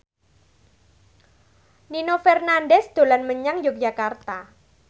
Nino Fernandez dolan menyang Yogyakarta